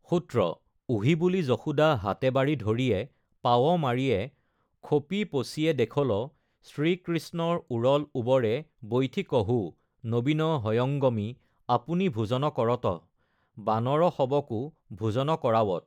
সূত্ৰঃ ওহি বুলি যশোদা হাতে বাড়ি ধৰিয়েঃ পাৱ মাৰিয়েঃ খোপি পসিয়ে দেখলঃ শ্ৰীকৃষ্ণৰ উৰল উৱৰে বৈঠি কহোঃ নবিন হয়ঙ্গমি আপুনি ভোজন কৰতঃ বানৰ সৱকো ভোজন কৰাৱত!